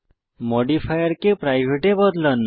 মডিফায়ারকে private এ বদলান